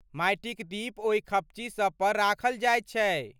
माटिक दीप ओहि खपच्ची सभ पर राखल जायत छै।